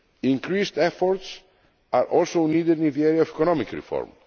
issues. Increased efforts are also needed in the area of economic